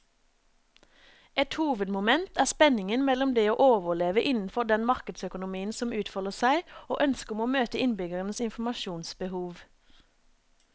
Et hovedmoment er spenningen mellom det å overleve innenfor den markedsøkonomien som utfolder seg, og ønsket om å møte innbyggernes informasjonsbehov.